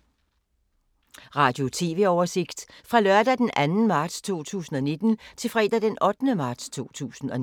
Radio/TV oversigt fra lørdag d. 2. marts 2019 til fredag d. 8. marts 2019